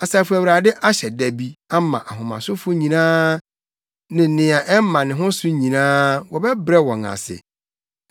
Asafo Awurade ahyɛ da bi ama ahomasofo nyinaa ne nea ɛma ne ho so nyinaa (wɔbɛbrɛ wɔn ase),